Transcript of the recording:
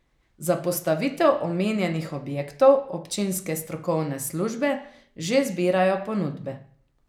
Za postavitev omenjenih objektov občinske strokovne službe že zbirajo ponudbe.